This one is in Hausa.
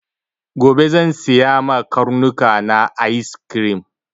Gobe zan siya ma karnuka na ayis krim.